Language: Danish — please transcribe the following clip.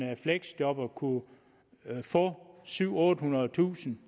fleksjobber kunne få syvhundredetusind